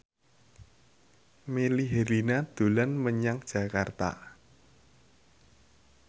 Melly Herlina dolan menyang Jakarta